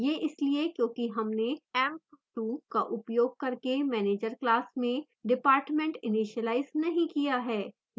यह इसलिए क्योंकि हमने emp2 का उपयोग करके manager class में department इनीशिलाइज नहीं किया है